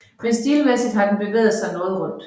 Men stilmæssigt har den bevæget sig noget rundt